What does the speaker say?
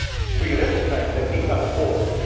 resistance. We recognise that these are